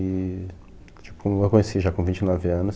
E, tipo, eu conheci já com vinte e nove anos.